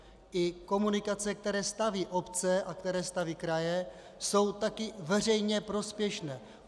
I komunikace, které staví obce a které staví kraje, jsou také veřejně prospěšné.